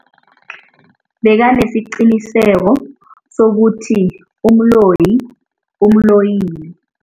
Bekanesiqiniseko sokuthi umloyi umloyile.